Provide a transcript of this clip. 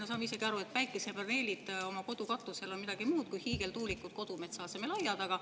Me saame ise ka aru, et päikesepaneelid oma kodu katusel on midagi muud kui hiigeltuulikud kodumetsa asemel aia taga.